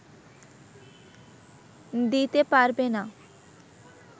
দিতে পারবে না